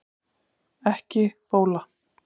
Ekki bóla